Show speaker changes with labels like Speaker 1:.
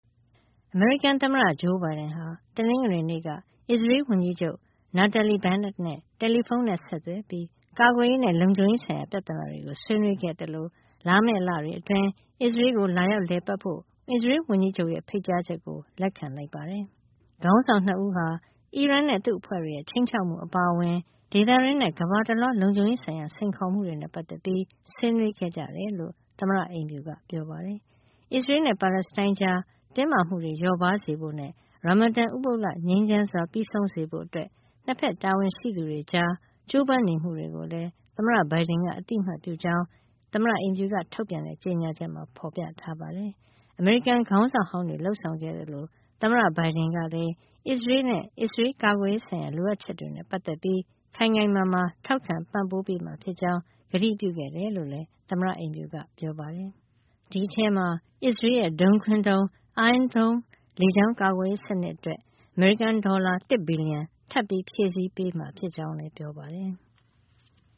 Speaker 1: အမေရိကန်သမ္မတ Joe Biden ဟာ တနင်္ဂနွေနေ့က အစ္စရေးလ်ဝန်ကြီးချုပ် Naftali Bennett နဲ့ တယ်လီဖုန်းဆက်သွယ်ပြီး ကာကွယ်ရေးနဲ့ လုံခြုံရေးဆိုင်ရာ ပြဿနာတွေကို ဆွေးနွေးခဲ့သလို လာမယ့်လတွေအတွင်း အစ္စရေးလ်ကို လာရောက်လည်ပတ်ဖို့ အစ္စရေးလ်ဝန်ကြီးချုပ်ရဲ့ ဖိတ်ကြားချက်ကိုပါ လက်ခံလိုက်ပါတယ်။ ခေါင်းဆောင် ၂ ဦးဟာ အီရန်နဲ့ သူ့အဖွဲ့တွေရဲ့ ခြိမ်းခြောက်မှု အပါအဝင် ဒေသတွင်းနဲ့ ကမ္ဘာတလွှား လုံခြုံရေးဆိုင်ရာ စိန်ခေါ်မှုတွေနဲ့ ပတ်သက်ပြီး ဆွေးနွေးခဲ့ကြတယ်လို့ သမ္မတအိမ်ဖြူက ပြောပါတယ်။ အစ္စရေးလ်နဲ့ ပါလက်စတိုင်းကြားက တင်းမာမှုတွေ လျော့ပါးစေဖို့နဲ့ Ramadan ဥပုသ်လ ငြိမ်းချမ်းစွာ ပြီးဆုံးစေဖို့ အစ္စရေးလ်-ပါလက်စတိုင်း နှစ်ဖက် တာဝန်ရှိသူတွေကြား ကြိုးပမ်းနေမှုတွေကိုလည်း သမ္မတ Biden က အသိအမှတ်ပြုကြောင်း သမ္မတအိမ်ဖြူက ထုတ်ပြန်တဲ့ ကြေညာချက်မှာ ဖော်ပြထားပါတယ်။ အမေရိကန်ခေါင်းဆောင်ဟောင်းတွေ လုပ်ဆောင်ခဲ့သလိုပဲ သမ္မတ Biden ကလည်း အစ္စရေးလ်နဲ့ အစ္စရေးလ် ကာကွယ်ရေးဆိုင်ရာ လိုအပ်ချက်တွေနဲ့ ပတ်သက်ပြီး ခိုင်ခိုင်မာမာ ထောက်ခံပံ့ပိုးမှာဖြစ်ကြောင်း ကတိပြုခဲ့တယ်လို့လည်း သမ္မတအိမ်ဖြူက ပြောပါတယ်။ ဒီအထဲမှာ အစ္စရေးလ်ရဲ့ ဒုံးခွင်းဒုံး Iron Dome လေကြောင်းကာကွယ်ရေး စနစ်အတွက် အမေရိကန်ဒေါ်လာ ၁ ဘီလီယံ ထပ်မံဖြည့်ဆည်းပေးမှာ ဖြစ်ကြောင်းလည်း ပြောပါတယ်။